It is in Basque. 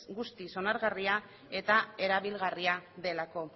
guztiz onargarria eta erabilgarria delako